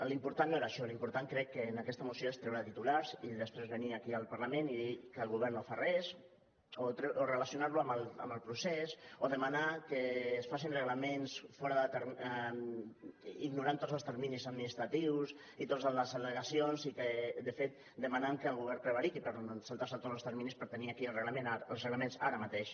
l’important no era això l’important crec que en aquesta moció és treure titulars i després venir aquí al parlament i dir que el govern no fa res o relacionar lo amb el procés o demanar que es facin reglaments ignorant tots els terminis administratius i totes les al·legacions i de fet demanen que el govern prevariqui per saltar se tots els terminis per tenir aquí els reglaments ara mateix